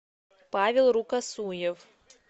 павел рукосуев